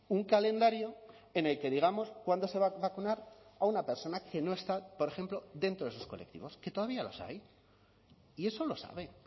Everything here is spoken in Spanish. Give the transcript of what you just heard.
un calendario en el que digamos cuándo se va a vacunar a una persona que no está por ejemplo dentro de esos colectivos que todavía los hay y eso lo sabe